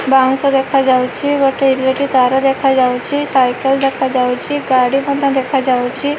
ବାଉଁଶ ଦେଖାଯାଉଚି ଗୋଟେ ଇଲେକ୍ଟ୍ରି ତାର ଦେଖାଯାଉଚି ସାଇକେଲ୍ ଦେଖାଯାଉଚି ଗାଡ଼ି ମଧ୍ୟ ଦେଖାଯାଉଚି ।